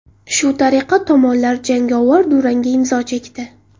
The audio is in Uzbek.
Shu tariqa tomonlar jangovar durangga imzo chekdi.